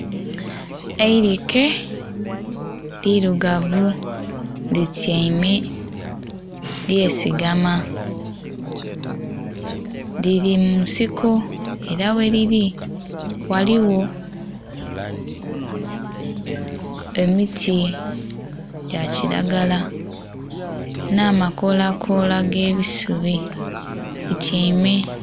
Eirike lirugavu lityaime lye sigama. Lili munsiko era ghelili ghaligho emiti gya kilagala nha makolakola ge bisubi li tyaime.